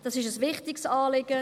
Dies ist ein wichtiges Anliegen.